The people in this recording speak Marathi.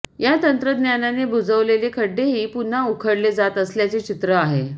या तंत्रज्ञानाने बुजवलेले खड्डेही पुन्हा उख़डले जात असल्याचे चित्र आहे